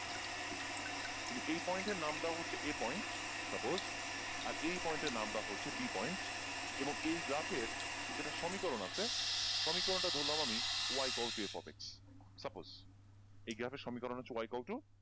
তুমি এই point এর নাম দাও হচ্ছে a point suppose আর এই point এর নাম দাও হচ্ছে b point এবং এই graph এর কিন্তু একটা সমীকরণ আছে, সমীকরণটা ধরলাম আমি y equal to f of x suppose এই graph এর সমীকরণ হচ্ছে y equal to